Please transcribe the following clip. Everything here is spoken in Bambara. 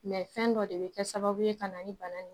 Mɛ fɛn dɔ de be kɛ sababu ye ka na ni bana in ye